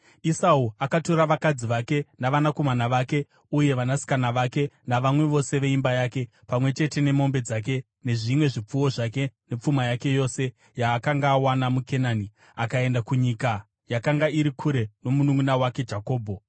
Esau akatora vakadzi vake navanakomana vake uye vanasikana vake navamwe vose veimba yake, pamwe chete nemombe dzake nezvimwe zvipfuwo zvake nepfuma yake yose yaakanga awana muKenani, akaenda kunyika yakanga iri kure nomununʼuna wake Jakobho.